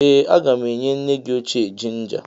Ee a ga m enye nne gị ochie jinja.